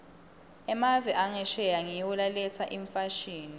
emave angesheya ngiwo laletsa imfashini